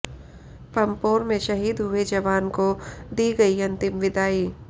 पंपोर में शहीद हुए जवान को दी गई अंतिम विदाई